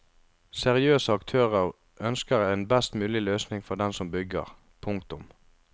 Seriøse aktører ønsker en best mulig løsning for den som bygger. punktum